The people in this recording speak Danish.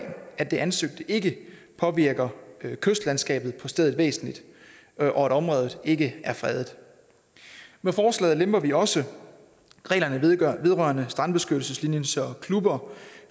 at det ansøgte ikke påvirker kystlandskabet på stedet væsentligt og at området ikke er fredet med forslaget lemper vi også reglerne vedrørende strandbeskyttelseslinjen så klubber